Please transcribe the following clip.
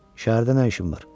Şəhərdə nə işim var?